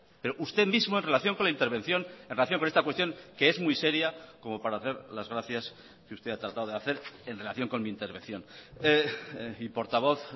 pero usted mismo en relación con la intervención en relación con esta cuestión que es muy seria como para hacer las gracias que usted ha tratado de hacer en relación con mi intervención y portavoz